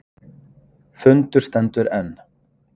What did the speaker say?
Fundur stendur enn